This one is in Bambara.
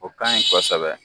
O kaɲi kosɛbɛ